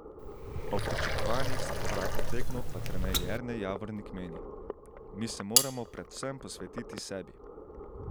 O pričakovanjih za povratno tekmo pa trener Jernej Javornik meni: "Mi se moramo predvsem posvetiti sebi.